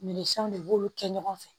Min sanw de b'olu kɛ ɲɔgɔn fɛ